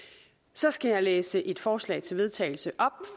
så skal jeg læse et forslag til vedtagelse op